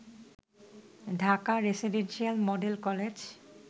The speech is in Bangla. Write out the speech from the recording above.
Dhaka residential model college